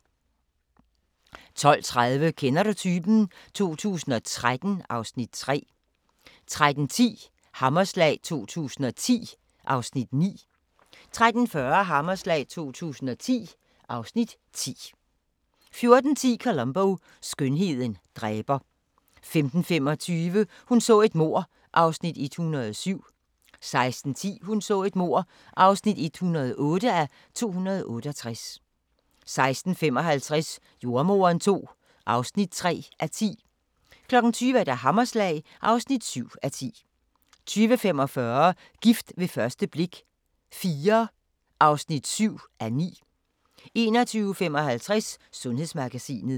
12:30: Kender du typen? 2013 (Afs. 3) 13:10: Hammerslag 2010 (Afs. 9) 13:40: Hammerslag 2010 (Afs. 10) 14:10: Columbo: Skønheden dræber 15:25: Hun så et mord (107:268) 16:10: Hun så et mord (108:268) 16:55: Jordemoderen II (4:10) 20:00: Hammerslag (7:10) 20:45: Gift ved første blik – IV (7:9) 21:55: Sundhedsmagasinet